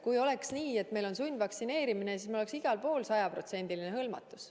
Kui oleks nii, et meil on sundvaktsineerimine, siis meil oleks igal pool sajaprotsendiline hõlmatus.